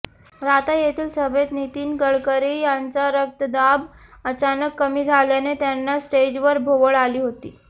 राहता येथील सभेत नितीन गडकरी यांचा रक्तदाब अचानक कमी झाल्याने त्यांना स्टेजवर भोवळ आली होती